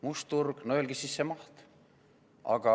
Must turg – no öelge siis see maht!